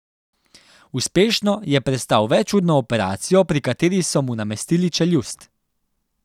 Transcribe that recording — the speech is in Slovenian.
Uspešno je prestal večurno operacijo, pri kateri so mu namestili čeljust.